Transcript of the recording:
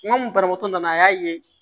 N ko banabaatɔ nana a y'a ye